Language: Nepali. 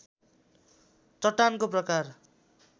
चट्टानको प्रकार